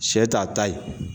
Sɛ t'a ta ye